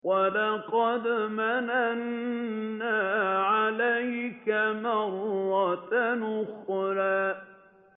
وَلَقَدْ مَنَنَّا عَلَيْكَ مَرَّةً أُخْرَىٰ